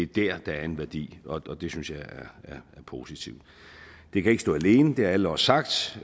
der der er en værdi og det synes jeg er positivt det kan ikke stå alene det har alle også sagt